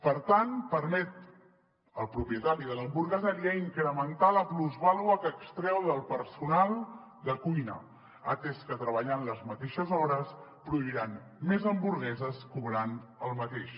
per tant permet al propietari de l’hamburgueseria incrementar la plusvàlua que extreu del personal de cuina atès que treballant les mateixes hores produiran més hamburgueses cobrant el mateix